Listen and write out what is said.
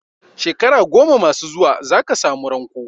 Shekara goma masu zuwa za ka samu sanko.